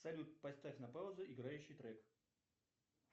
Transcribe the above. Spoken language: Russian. салют поставь на паузу играющий трек